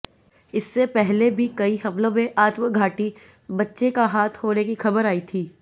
इससे पहले भी कई हमलों में आत्मघाती बच्चे का हाथ होने की खबर आई थीं